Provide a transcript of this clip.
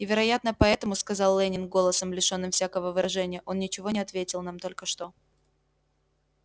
и вероятно поэтому сказал лэннинг голосом лишённым всякого выражения он ничего не ответил нам только что